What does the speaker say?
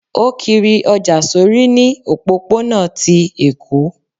o kírí ojá sorí ní òpópó-ònà tí Eko